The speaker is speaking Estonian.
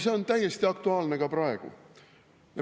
See on täiesti aktuaalne ka praegu.